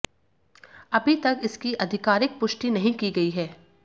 अभी तक इसकी आधिकारिक पुष्टि नहीं की गई है